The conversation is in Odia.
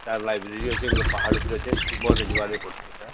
ତାର library ଅଛି ଗୋଟେ ପାହାଡ଼ ଉପରକେ ଷ୍ଟିମର ରେ ଯିବାକ ପଡ଼ିଛେ ସେଟା